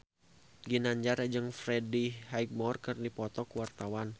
Ginanjar jeung Freddie Highmore keur dipoto ku wartawan